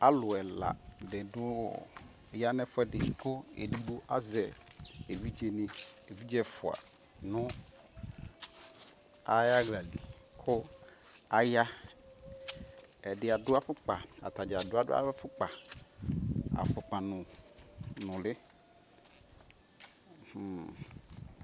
Aluɛla di ya nɛfuɛdi( not clear)